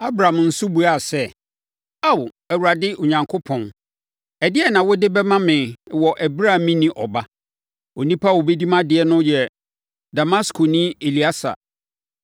Abram nso buaa sɛ, “Ao, Awurade Onyankopɔn, ɛdeɛn na wode bɛma me wɔ ɛberɛ a menni ɔba. Onipa a ɔbɛdi mʼadeɛ no yɛ Damaskoni Elieser?”